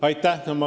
Aitäh!